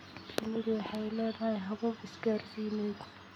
Shinnidu waxay leedahay habab isgaarsiineed.